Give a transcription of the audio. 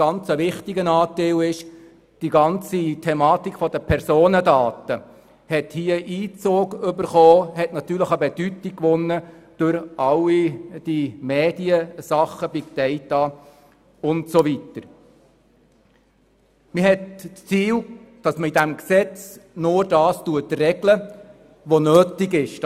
Wichtig ist zudem, dass die ganze Thematik der Personendaten hier Einzug gehalten und natürlich an Bedeutung gewonnen hat durch alle die Mediensachen und Big Date usw. Ziel ist, dass in dem Gesetz nur das geregelt wird, was nötig ist.